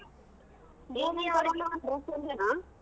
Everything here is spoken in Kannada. dress ಒಂದೇನಾ?